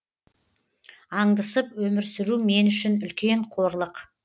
аңдысып өмір сүру мен үшін үлкен қорлық